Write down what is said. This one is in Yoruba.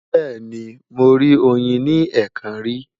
Bẹ́ẹ̀ni, mo rí oyin ní ẹ̀ẹ̀kan rí.